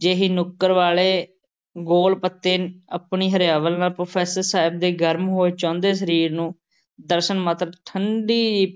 ਜਿਹੀ ਨੁੱਕਰ ਵਾਲ਼ੇ ਗੋਲ਼ ਪੱਤੇ ਆਪਣੀ ਹਰਿਆਵਲ ਨਾਲ਼ professor ਸਾਹਿਬ ਦੇ ਗਰਮ ਹੋਏ ਚੋਂਦੇ ਸਰੀਰ ਨੂੰ ਦਰਸ਼ਨ ਮਾਤਰ ਨਾਲ਼ ਠੰਢੀ